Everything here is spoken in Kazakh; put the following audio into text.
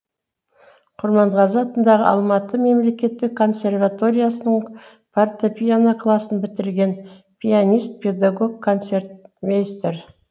құрманғазы атындағы алматы мемлекеттік консерваториясының фортепьяно классын бітірген пианист педагог концертмейстер